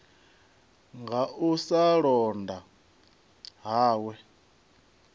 nga u sa londa hawe